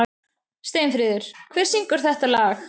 Steinfríður, hver syngur þetta lag?